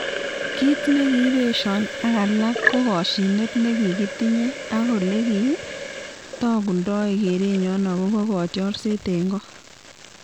"Kiit nekiibesho ak alak ko koshinet ne kikitinyei ak olekitokundoi kerenyo agobo kotiorset eng ko.